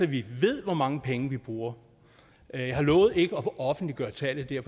vi ved hvor mange penge vi bruger jeg har lovet ikke at offentliggøre tallet det er